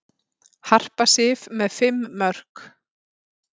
Harpa Sif með fimm mörk